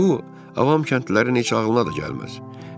Bu avam kəndlərin heç ağlına da gəlməz.